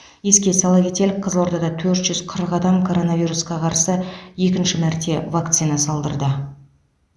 еске сала кетелік қызылордада төрт жүз қырық адам коронавирусқа қарсы екінші мәрте вакцина салдырды